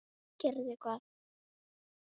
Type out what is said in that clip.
Gerði hvað?